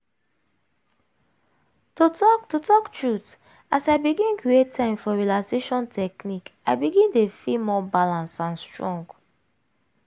to talk to talk true as l begin create time for relaxation technique i begin dey feel more balance and strong.